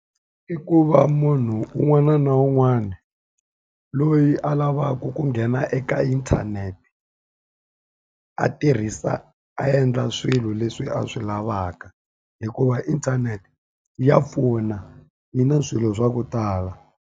I ku va munhu un'wana na un'wana loyi a lavaka ku nghena eka inthanete, a tirhisa a endla swilo leswi a swi lavaka. Hikuva inthanete ya pfuna, yi na swilo swa ku tala.